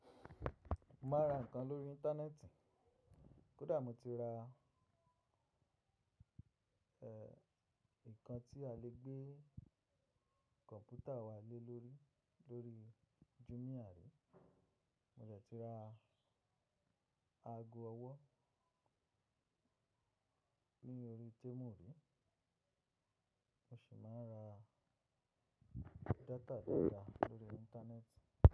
Mo máa ń ra nǹkan lórí Íńtánẹ́ẹ̀tì. Kódà mo ti ra, ẹ, nǹkan tí a lè gbé kọ̀ǹpútà wá lé lórí, lórí Jumia ní. Mo dẹ̀ ti ra ago ọwọ́ ní orí Temu rí. Mo sì máa ń ra data dáadáa lórí Íńtánẹ́ẹ̀tì.